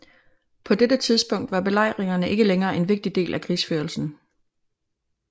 På dette tidspunkt var belejringer ikke længere en vigtig del af krigsførelsen